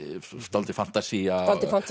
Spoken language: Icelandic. dálítil fantasía